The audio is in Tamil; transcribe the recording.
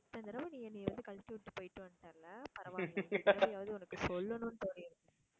இத்தனை தடவை நீ என்னை வந்து என்ன கழட்டிவிட்டு போயிட்டு வந்துட்டல்ல பரவால்ல இந்த தடவையாவது உனக்கு சொல்லணும்னு தோனிருக்கே,